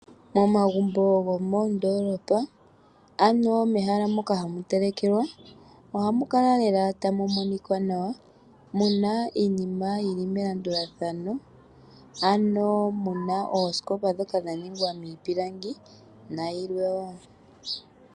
Momagumbo gomoondolopa ano mehala moka hamu telekelwa, ohamu kala lela tamu monika nawa, muna iiinima yili melandulathano, ano muna oosikopa ndhoka dha ningwa miipilangi, nayilwe woo.